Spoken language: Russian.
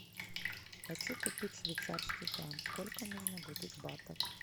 хочу купить швейцарский франк сколько нужно будет батов